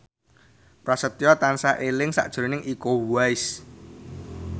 Prasetyo tansah eling sakjroning Iko Uwais